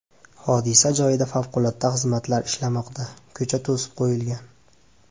Hodisa joyida favqulodda xizmatlar ishlamoqda, ko‘cha to‘sib qo‘yilgan.